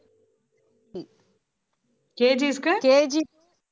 KG ஸ்க்கு?